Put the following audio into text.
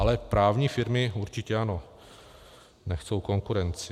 Ale právní firmy určitě ano, nechtějí konkurenci.